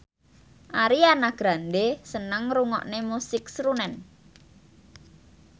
Ariana Grande seneng ngrungokne musik srunen